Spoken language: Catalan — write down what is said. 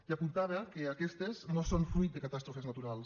i apuntava que aquestes no són fruit de catàstrofes naturals